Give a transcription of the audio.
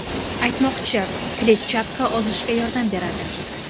Aytmoqchi, kletchatka ozishga yordam beradi.